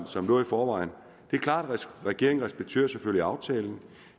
som lå i forvejen det er klart at regeringen selvfølgelig respekterer aftalen